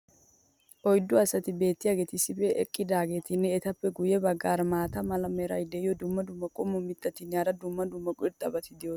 oyddu asati beetiyaageeti issippe eqqiodaageetinne etappe guye bagaara maata mala meray diyo dumma dumma qommo mitattinne hara dumma dumma irxxabati de'oosona.